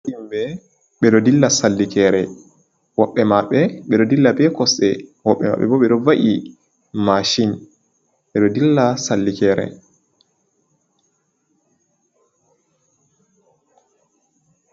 Himɓe, ɓe ɗo dilla sallikere. Woɓɓe maɓɓe, ɓe ɗo dilla be kosɗe. Woɓbe maɓɓe bo, ɓe ɗo va'i mashin. Ɓe ɗo dilla sallikere.